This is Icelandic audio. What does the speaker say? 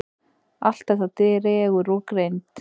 Allt þetta dregur úr greind.